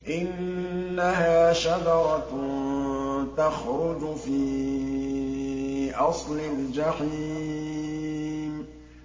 إِنَّهَا شَجَرَةٌ تَخْرُجُ فِي أَصْلِ الْجَحِيمِ